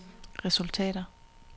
resultater